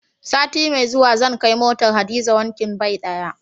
Sati mai zuwa zan kai motar Hadiza wankin bai ɗaya.